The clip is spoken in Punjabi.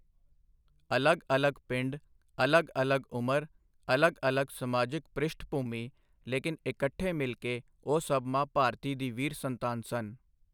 ਅਲੱਗ ਅਲੱਗ ਪਿੰਡ, ਅਲੱਗ ਅਲੱਗ ਉਮਰ, ਅਲੱਗ ਅਲੱਗ ਸਮਾਜਿਕ ਪ੍ਰਿਸ਼ਠਭੂਮੀ, ਲੇਕਿਨ ਇਕੱਠੇ ਮਿਲ ਕੇ ਉਹ ਸਭ ਮਾਂ ਭਾਰਤੀ ਦੀ ਵੀਰ ਸੰਤਾਨ ਸਨ।